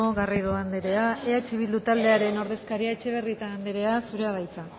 garrido andrea eh bildu taldearen ordezkaria etxebarrieta andrea zurea da hitza